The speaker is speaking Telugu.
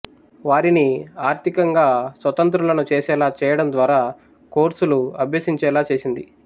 వారిని ఆర్థికంగా స్వతంత్రులను చేసేలా చేయడం ద్వారా కోర్సులు అభ్యసించేలా చేసింది